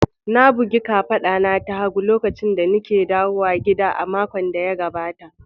Na bugi ƙafata ta hagu lokacin da nake dawowa gida a makon da ya gaɓata.